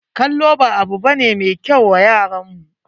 Kallo ba abu ba ne mai kyau wa yaran mu.